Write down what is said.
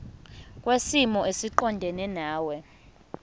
kwisimo esiqondena nawe